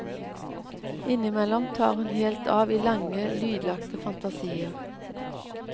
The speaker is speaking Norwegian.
Innimellom tar hun helt av i lange, lydlagte fantasier.